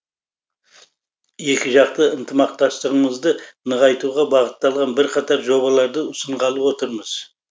екіжақты ынтымақтастығымызды нығайтуға бағытталған бірқатар жобаларды ұсынғалы отырмыз